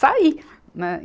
Sair, né.